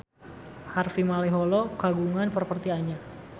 Harvey Malaiholo kagungan properti anyar